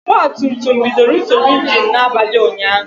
Ogba tum tum bidoro nsogbu ịnginu n'abalị ụnyaahụ